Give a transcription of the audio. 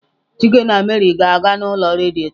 Chike na Mary ga-aga n'ulo redio ta.